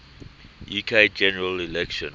uk general election